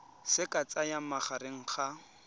se ka tsayang magareng ga